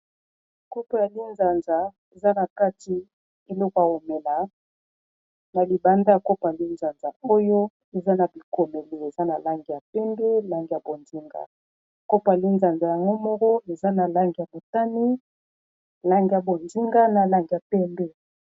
Kopo ya lizanza eza na kati eloko ya ko mela , na libanda ya kopo ya linzanza oyo eza na bikomelo eza na langi ya pembe, langi ya bonzinga, kopa linzanza yango moko eza na langi ya botane, lange ya bonzinga na langi ya pembe .